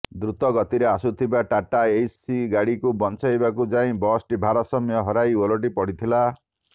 ଦୃତଗତିରେ ଆସୁଥିବା ଟାଟା ଏସି ଗାଡ଼ିକୁ ବଞ୍ଚାଇବାକୁ ଯାଇ ବସଟି ଭାରସାମ୍ୟ ହରାଇ ଓଲଟି ପଡ଼ିଥିଲା